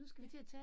Ja